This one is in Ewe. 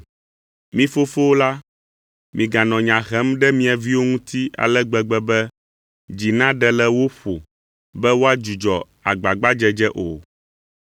Mi fofowo la, miganɔ nya hem ɖe mia viwo ŋuti ale gbegbe be dzi naɖe le wo ƒo be woadzudzɔ agbagbadzedze o.